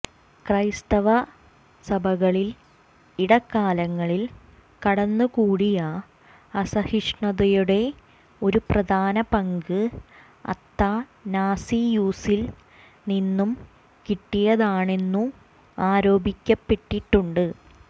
ക്രൈസ്തവസഭകളിൽ ഇടക്കാലങ്ങളിൽ കടന്നു കൂടിയ അസഹിഷ്ണുതയുടെ ഒരു പ്രധാന പങ്ക് അത്തനാസിയൂസിൽ നിന്നു കിട്ടിയതാണെന്നു ആരോപിക്കപ്പെട്ടിട്ടുണ്ട്